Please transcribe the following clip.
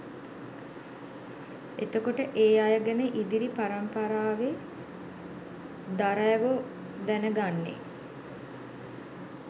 එතකොට ඒ අය ගැන ඉදිරි පරමිපරාවේ දරැවො දැනගන්නෙ